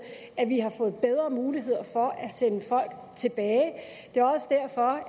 at vi har fået bedre muligheder for at sende folk tilbage det er også derfor